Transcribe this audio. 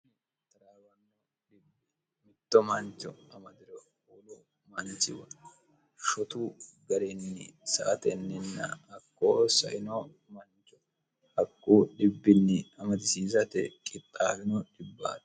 xaraawanno dhibbi mitto manchu ama diro uulu manchiwari shotu garenni sa atenninna akkoo saino mannchu hakku dhibbinni amatisiisate qixxaalino dhibbaate